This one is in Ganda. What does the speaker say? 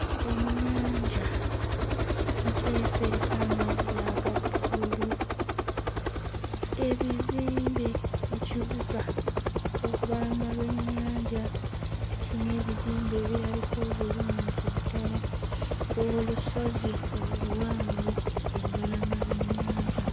Ennyanja nteefu eriko amazzi aga bbululu ebizimbe ekibuga ku lubalama lw'ennyanja kiyina ebizimbe ebirabika obulungi ddala olusozi oluwanvu ku lubalama lw'ennyanja.